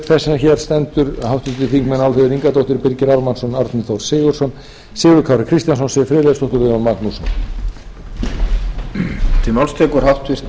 þess sem hér stendur háttvirtir þingmenn álfheiður ingadóttir birgir ármannsson árni þór sigurðsson sigurður kári kristjánsson siv friðleifsdóttir og jón magnússon